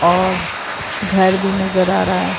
और घर भी नज़र आ रहा है।